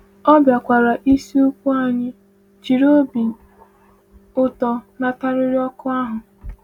Ọ bịakwara isikwu anyị, jiri obi ụtọ natarịrị oku ahụ.